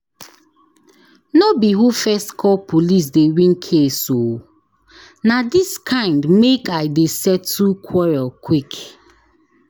No be who first call police dey win case o! Na dis kind make I dey settle quarrel quick.